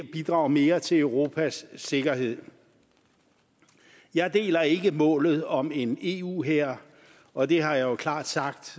bidrager mere til europas sikkerhed jeg deler ikke målet om en eu hær og det har jeg jo klart sagt